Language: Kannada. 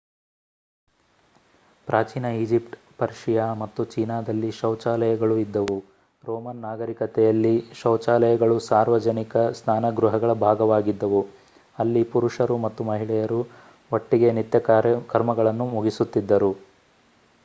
ಪ್ರಾಚೀನ ಈಜಿಪ್ಟ್ ಪರ್ಷಿಯಾ ಮತ್ತು ಚೀನಾದಲ್ಲಿ ಶೌಚಾಲಯಗಳೂ ಇದ್ದವು ರೋಮನ್ ನಾಗರಿಕತೆಯಲ್ಲಿ ಶೌಚಾಲಯಗಳು ಸಾರ್ವಜನಿಕ ಸ್ನಾನಗೃಹಗಳ ಭಾಗವಾಗಿದ್ದವು ಅಲ್ಲಿ ಪುರುಷರು ಮತ್ತು ಮಹಿಳೆಯರು ಒಟ್ಟಿಗೆ ನಿತ್ಯ ಕರ್ಮಗಳನ್ನು ಮುಗಿಸುತ್ತಿದ್ದರು